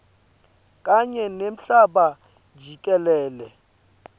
kanye nemhlaba jikelele